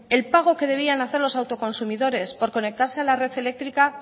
el pago que debían hacer los autoconsumidores por conectarse a la red eléctrica